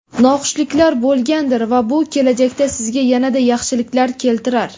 noxushliklar bo‘lgandir va bu kelajakda sizga yanada yaxshiliklar keltirar.